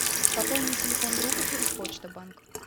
пополнить телефон друга через почта банк